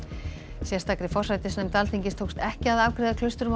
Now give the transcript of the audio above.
sérstakri forsætisnefnd Alþingis tókst ekki að afgreiða